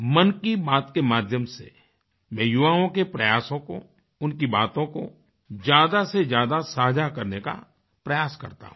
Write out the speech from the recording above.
मन की बात के माध्यम से मैं युवाओं के प्रयासों को उनकी बातों को ज्यादा से ज्यादा साझा करने का प्रयास करता हूँ